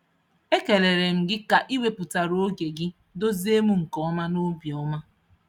Ekelere m gị ka ị wepụtara oge gị duzie m nke ọma nobi ọma.